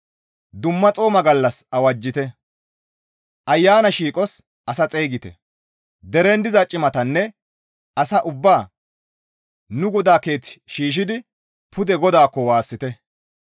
Dumma xooma gallas awajjite; ayana shiiqos asa xeygite; deren diza cimatanne asaa ubbaa nu GODAA keeththan shiishshidi pude GODAAKKO waassite.